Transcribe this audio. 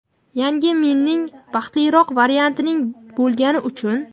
"Yangi men" ing - "baxtliroq" varianting bo‘lgani uchun.